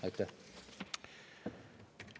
Aitäh!